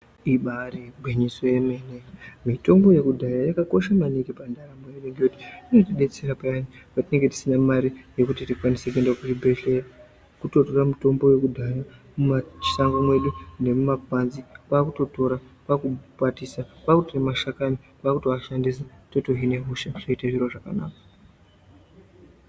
Ibairi ngwinyiso yemene mitombo yekudhaya yaka kosha maningi pa ndaramo inoti detsera payani pa tinenge tisina mari yekuti tikwanise kuenda ku chibhedhleya woto tora mutombo yekudhaya mu mashango medu nemu makwanzi kwakuto tora kwaku kwatisa kwaku tora mashakani kwakuto ashandisa toto hine hosha zvoita zviro zvakanaka.